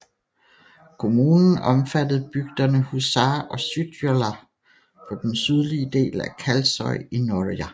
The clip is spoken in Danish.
Kommunen omfattede bygderne Húsar og Syðradalur på den sydlige del af Kalsoy i Norðoyar